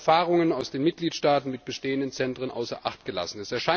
Erfahrungen aus den Mitgliedstaaten mit bestehenden Zentren außer Acht gelassen.